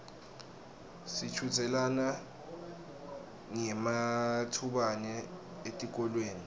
sichudzelana ngematubane etikolweni